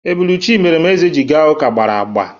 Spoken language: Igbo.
Ebulu Chimeremeze ji ga ụka gbara agba.